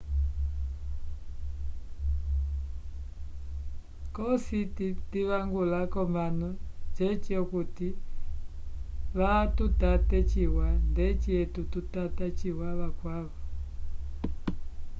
cosi ndivangula k'omanu ceci okuti vatutate ciwa ndeci etu tutata ciwa vakwavo